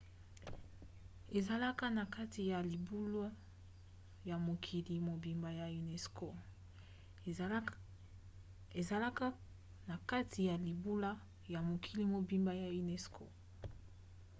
ezalaka na kati ya libula ya mokili mobimba ya unesco